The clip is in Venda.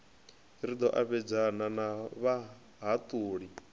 ri ḓo ambedzana na vhahaṱuli